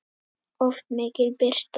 Oft mikil birta.